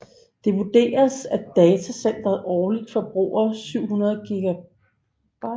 Det vurderes at datacenteret årligt forbruger 700 GWh